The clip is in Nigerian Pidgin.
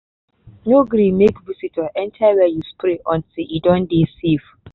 no gree make visitor enter where you spray until e don dey safe